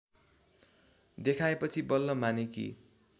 देखाएपछि बल्ल मानेकी